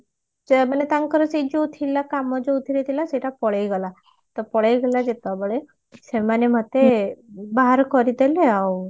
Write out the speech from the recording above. ଯେ ମାନେ ତାଙ୍କର ସେ ଯୋଉ ଥିଲା କାମ ଯୋଉଥିରେ ଥିଲା ସେଇଟା ପଳେଈ ଗଲା ତ ପଳେଇ ଗଲା ଯେତେବେଳେ ସେମାନେ ମତେ ବାହାର କରିଦେଲେ ଆଉ